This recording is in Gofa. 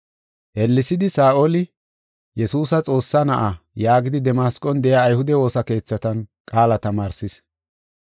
Ellesidi Saa7oli, “Yesuusi Xoossaa Na7a” yaagidi Damasqon de7iya ayhude woosa keethatan qaala tamaarsis.